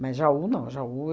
Mas em Jaú, não. Jaú